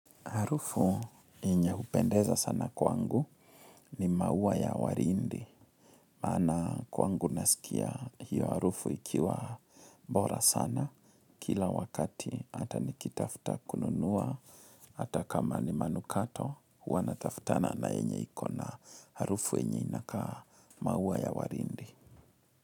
Harufu enye hupendeza sana kwangu ni maua ya warindi. Maana kwangu nasikia hiyo harufu ikiwa bora sana. Kila wakati hata nikitafuta kununuwa, hata kama ni manukato huwa natafutana na enye iko na harufu enye inakaa maua ya warindi.